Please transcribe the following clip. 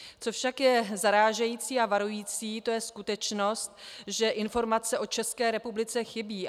Co však je zarážející a varující, to je skutečnost, že informace o České republice chybí.